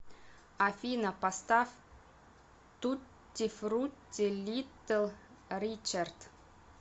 афина поставь тутти фрутти литл ричард